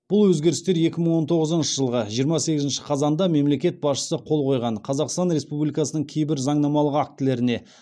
бұл өзгерістер екі мың он тоғызыншы жылғы жиырма сегізінші қазанда мемлекет басшысы қол қойған қазақстан республикасының кейбір заңнамалық актілеріне